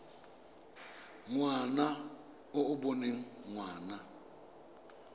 ngwana e e boneng ngwana